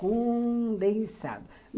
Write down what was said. Condensado.